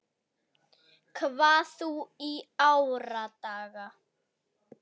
hvað þú í árdaga